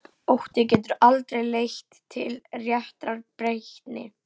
Ótti getur aldrei leitt til réttrar breytni.